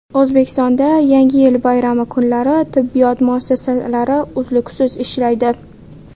O‘zbekistonda Yangi yil bayrami kunlari tibbiyot muassasalari uzluksiz ishlaydi.